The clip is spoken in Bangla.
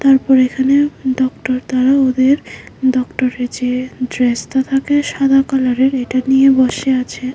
তারপর এখানে ডক্টর দ্বারা ওদের ডক্টরের যে ড্রেসতা থাকে সাদা কালারের এটা নিয়ে বসে আছে।